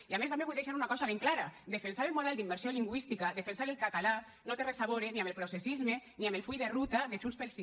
i a més també vull deixar una cosa ben clara defensar el model d’immersió lingüística defensar el català no té res a veure ni amb el processisme ni amb el full de ruta de junts pel sí